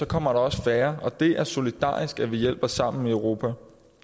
kommer der også færre og det er solidarisk at vi hjælper sammen i europa